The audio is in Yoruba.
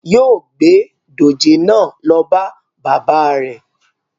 Yóo gbé dòjé náà lọ bá baba rẹ̀